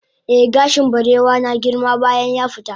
eh gashin barewa na girma bayan yafita